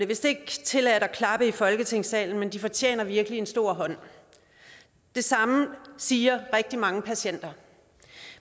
vist ikke tilladt at klappe i folketingssalen men de fortjener virkelig en stor hånd det samme siger rigtig mange patienter